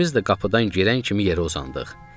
İkimiz də qapıdan girən kimi yerə uzandıq.